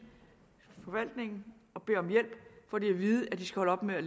forvaltning og beder om hjælp får de at vide at de skal holde op med at